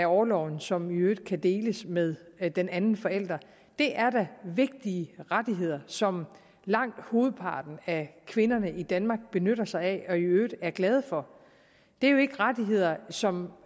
orloven som i øvrigt kan deles med med den anden forælder det er da vigtige rettigheder som langt hovedparten af kvinderne i danmark benytter sig af og i øvrigt er glade for det er jo ikke rettigheder som